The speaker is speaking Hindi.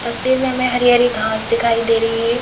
तस्वीर में हमें हरी हरी घास दिखाई दे रही है।